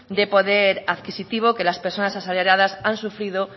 de poder adquisitivo que las personas asalariaras han sufrido